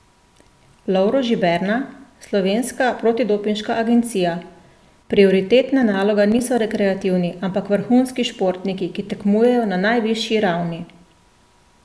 Lovro Žiberna, Slovenska protidopinška agencija: 'Prioritetna naloga niso rekreativni, ampak vrhunskih športniki, ki tekmujejo na najvišji ravni.